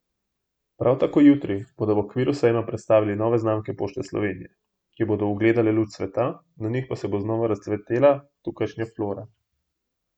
Prav tako jutri bodo v okviru sejma predstavili nove znamke Pošte Slovenije, ki bodo ugledale luč sveta, na njih pa se bo znova razcvetala tukajšnja flora.